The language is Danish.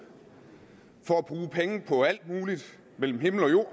og at bruge penge på alt muligt mellem himmel og jord